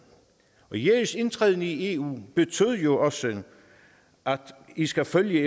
regeringens indtræden i eu betød jo også at i skal følge